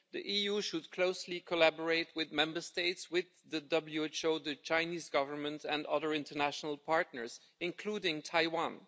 The EU should closely collaborate with Member States, the WHO, the Chinese Government and other international partners, including Taiwan.